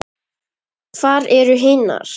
Hvar eru hinar?